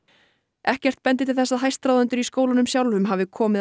ekkert bendir til þess að hæstráðendur í skólunum sjálfum hafi komið að